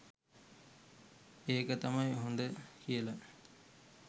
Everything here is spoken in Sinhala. ඒක තමයි හොද කියලා